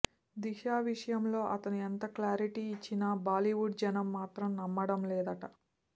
దిశా విషయంలో అతను ఎంత క్లారిటీ ఇచ్చినా బాలీవుడ్ జనం మాత్రం నమ్మడం లేదట